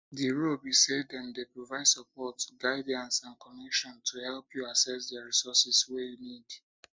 di role be say dem dey provide support guidance and connections to help you access di resources wey you need